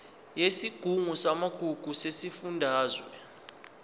yesigungu samagugu sesifundazwe